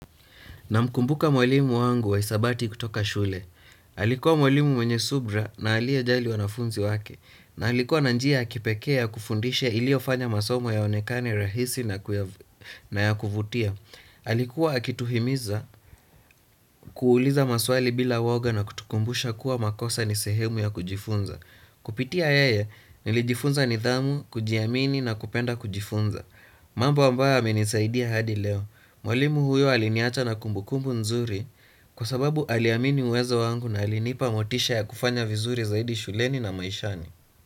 Namkumbuka mwalimu wangu wa hisabati kutoka shule. Alikuwa mwalimu mwenye subira na aliyejali wanafunzi wake. Na alikuwa na njia ya kipekee ya kufundisha iliyofanya masomo yaonekane rahisi na ya kuvutia. Alikuwa akituhimiza kuuliza maswali bila uoga na kutukumbusha kuwa makosa ni sehemu ya kujifunza. Kupitia yeye nilijifunza nidhamu, kujiamini na kupenda kujifunza. Mambo ambayo yamenisaidia hadi leo. Mwalimu huyo aliniacha na kumbukumbu nzuri kwa sababu aliamini uwezo wangu na alinipa motisha ya kufanya vizuri zaidi shuleni na maishani.